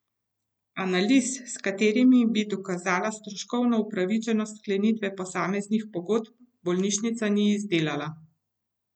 Analiz, s katerimi bi dokazala stroškovno upravičenost sklenitve posameznih pogodb, bolnišnica ni izdelala.